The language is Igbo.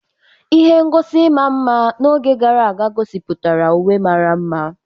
Ihe ngosi ịma mma n'oge gara aga gosipụtara uwe mara mma